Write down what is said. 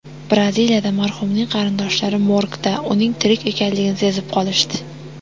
Braziliyada marhumning qarindoshlari morgda uning tirik ekanligini sezib qolishdi.